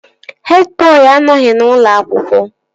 Hed bọị anọghị n'ụlọ akwụkwọ